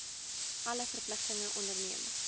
alle verpligtinge onderneem